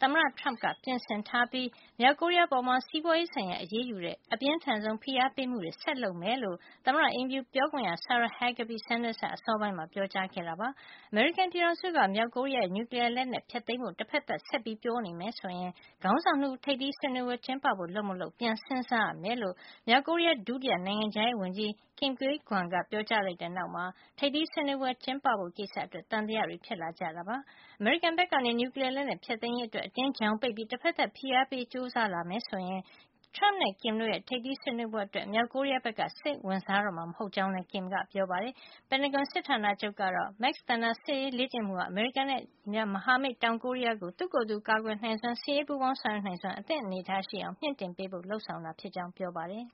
သမ္မတ Trump က ပြင်ဆင်ထားပြီး မြောက်ကိုရီးယားအပေါ် စီးပွါးရေးဆိုင်ရာ အရေးယူတဲ့ အပြင်းထန်ဆုံး ဖိအားပေးမှုတွေ ဆက်လုပ်နေမှာ ဖြစ်ကြောင်း သမ္မတအိမ်ဖြူပြောခွင့်ရ Sarah Huckabee Sanders က အစောပိုင်းမှာ ပြောကြားခဲ့တာပါ။ အမေရိကန်ပြည်ထောင်စုက မြောက်ကိုရီးယားရဲ့ နျူကလီယားလက်နက် ဖျက်သိမ်းဖို့ တဖက်သတ် ဆက်ပြီးပြောနေမယ် ဆိုရင် ခေါင်းဆောင် ၂ ဦးရဲ့ ထိပ်သီးဆွေးနွေးပွဲ ကျင်းပဖို့ လုပ်မလုပ် ပြန်စဉ်းစားရမှာ ဖြစ်ကြောင်း မြောက်ကိုရီးယား ဒု နိုင်ငံခြားရေးဝန်ကြီး Kim Kye Gwan က ပြောကြားလိုက်တဲ့ နောက်မှာ ထိပ်သီးဆွေးနွေးပွဲ ကျင်းပဖို့ကိစ္စ အတွက် သံသယတွေ ဖြစ်လာရတာပါ။ အမေရိကန်ဘက်က နျူကလီယားလက်နက် ဖျက်သိမ်းရေးအတွင်း အတင်း ချောင်ပိတ်ပြီး တဖက်သတ်ဖိအားပေးဖို့ ကြိုးစားလာမယ် ဆိုရင် Trump- နဲ့ Kim တို့ရဲံ ထိပ်သီးဆွေးနွေးပွဲအတွက် မြောက်ကိုရီယားက စိတ်ဝင်စားတော့မှာ မဟုတ်ကြောင်းလည်း Kim ကပြောပါတယ်။ ပင်တာဂွန်စစ်ဌာနချုပ်ကတော့ Max Thunder လေ့ကျင့်မှုဟာ အမေရိကန်ရဲ့ မဟာမိတ် တောင်ကိုရီးယားကို သူ့ကိုယ်သူ ကာကွယ်နိုင်စွမ်း၊ စစ်ရေးပူးပေါင်းဆောင်ရွက်နိုင်စွမ်းနဲ့ အသင့်အနေထားရှိအောင် မြှင့်တင်ပေးဖို့ လုပ်ဆောင်တာ ဖြစ်ကြောင်း ပြောပါတယ်။